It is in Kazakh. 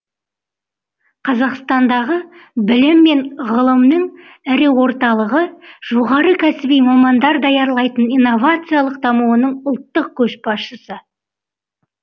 қазақстандағы білім мен ғылымның ірі орталығы жоғары кәсіби мамандар даярлайтын инновациялық дамуының ұлттық көшбасшысы